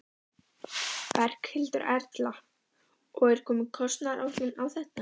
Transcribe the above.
Berghildur Erla: Og er komin kostnaðaráætlun á þetta?